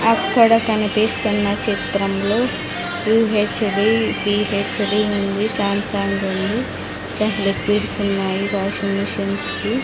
అక్కడ కనిపిస్తున్న చిత్రంలో పి_హెచ్_డి పి_హెచ్_డి ఉంది ఉంది లిక్విడ్స్ ఉన్నాయి వాషింగ్ మిషన్స్ కి.